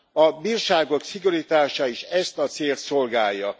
A bírságok szigorítása is ezt a célt szolgálja.